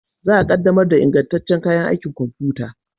Za a yi ƙaddamar da ingantaccen kayan aikin kwamfuta